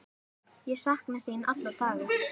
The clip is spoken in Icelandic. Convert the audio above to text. Ég sakna þín alla daga.